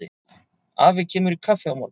Afi kemur í kaffi á morgun.